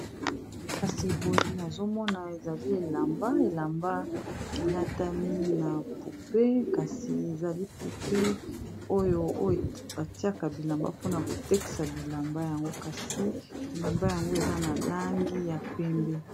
Nazomona ezali elamba elamba elatami na poupe kasi ezali pupe oyo batiaka bilamba mpona kotekisa bilamba yango kasi elamba yango eza na langi ya pembe